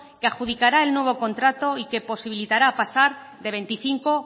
que adjudicará el nuevo contrato y que posibilitará pasar de veinticinco